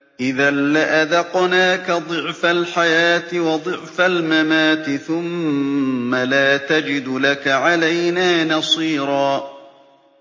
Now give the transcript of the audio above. إِذًا لَّأَذَقْنَاكَ ضِعْفَ الْحَيَاةِ وَضِعْفَ الْمَمَاتِ ثُمَّ لَا تَجِدُ لَكَ عَلَيْنَا نَصِيرًا